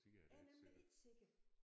Jeg er nemlig ikke sikker